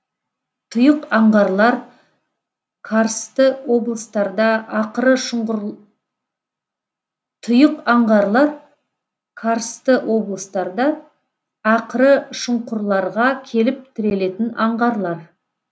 тұйық аңғарлар карсты облыстарда ақыры шұңқырларға келіп тірелетін аңғарлар